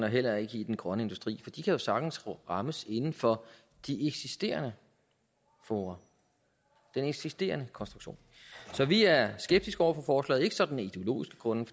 og heller ikke i den grønne industri for de kan jo sagtens rammes inden for de eksisterende fora den eksisterende konstruktion så vi er skeptiske over for forslaget ikke sådan af ideologiske grunde